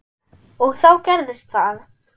. og þá gerðist það!